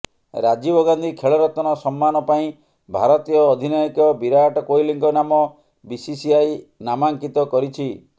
ରାଜୀବ ଗାନ୍ଧି ଖେଳରତ୍ନ ସମ୍ମାନ ପାଇଁ ଭାରତୀୟ ଅଧିନାୟକ ବିରାଟ କୋହଲିଙ୍କ ନାମ ବିସିସିଆଇ ନାମାଙ୍କିତ କରିଛି